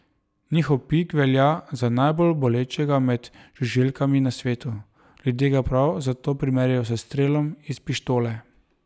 Njihov pik velja za najbolj bolečega med žuželkami na svetu, ljudje ga prav zato primerjajo s strelom iz pištole.